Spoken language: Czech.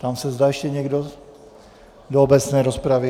Ptám se, zda ještě někdo do obecné rozpravy.